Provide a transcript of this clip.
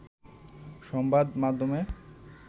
সংবাদ মাধ্যমে